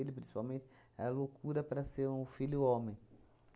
principalmente, era loucura para ser um filho homem.